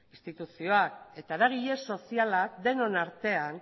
instituzioak eta eragile sozialak denon artean